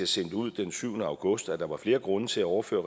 sendte ud den syvende august at der var flere grunde til at overføre